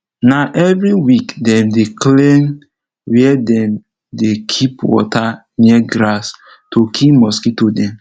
na every week dem dey clean where dem dey keep water near grass to kill mosquito dem